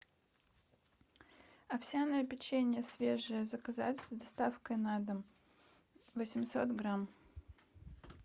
овсяное печенье свежее заказать с доставкой на дом восемьсот грамм